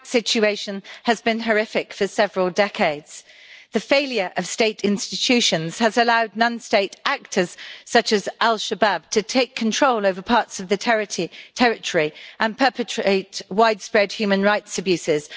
Mr President, the situation in Somalia has been horrific for several decades. The failure of state institutions has allowed non state actors such as al-Shabaab to take control over parts of the territory and perpetrate widespread human rights abuses.